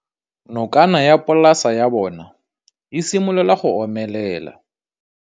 Nokana ya polase ya bona, e simolola go omelela.